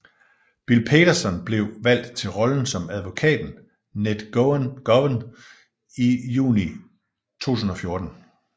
Bill Paterson blev valgt til rollen som advokaten Ned Gowan i juni 2014